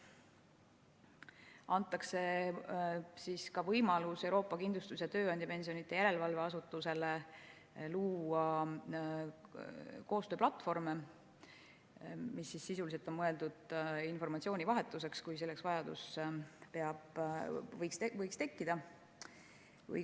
Antakse ka võimalus Euroopa Kindlustus‑ ja Tööandjapensionide Järelevalve Asutusele luua koostööplatvorme, mis sisuliselt on mõeldud informatsioonivahetuseks, kui selleks vajadus võiks tekkida.